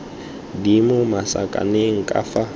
di mo masakaneng ka fa